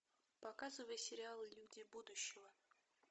показывай сериал люди будущего